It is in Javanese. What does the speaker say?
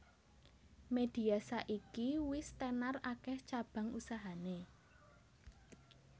Media saiki wis tenar akeh cabang usahane